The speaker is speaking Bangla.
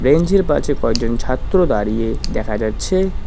বেঞ্চ -এর পাশে কয়জন ছাত্র দাঁড়িয়ে দেখা যাচ্ছে।